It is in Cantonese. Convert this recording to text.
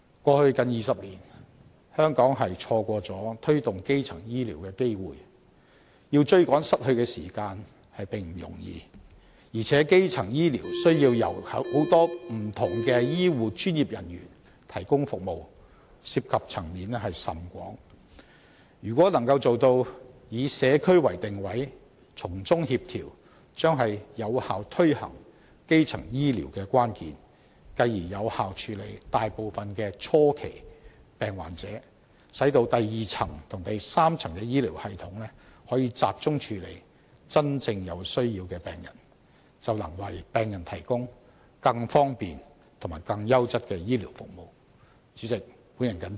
過去近20年，香港錯失了推動基層醫療的機會，要追趕失去的時間並不容易，而且基層醫療需要由很多不同的醫護專業人員提供服務，涉及層面甚廣，如果能夠做到以社區為定位，從中協調，將是有效推行基層醫療的關鍵，繼而有效處理大部分的初期病患者，使第二及第三層的醫療系統可以集中處理真正有需要的病人，便能為病人提供更方便及更優質的醫療服務。